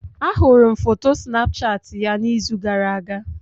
Ahụrụ m foto Snapchat ya n'izu gara-aga.